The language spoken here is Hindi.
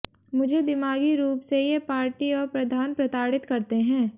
मुझे दिमागी रूप से ये पार्टी और प्रधान प्रताड़ित करते हैं